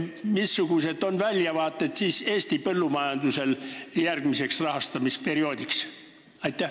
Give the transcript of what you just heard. Missugused on Eesti põllumajanduse väljavaated järgmiseks rahastamisperioodiks?